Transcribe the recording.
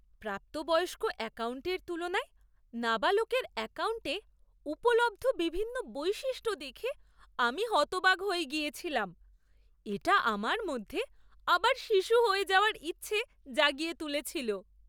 প্রাপ্তবয়স্ক অ্যাকাউন্টের তুলনায় নাবালকের অ্যাকাউন্টে উপলব্ধ বিভিন্ন বৈশিষ্ট্য দেখে আমি হতবাক হয়ে গিয়েছিলাম। এটা আমার মধ্যে আবার শিশু হয়ে যাওয়ার ইচ্ছে জাগিয়ে তুলেছিল।